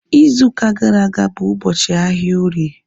Izu ụka gara aga bụ ụbọchị ahịa orie